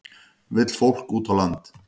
Vill fólk út á land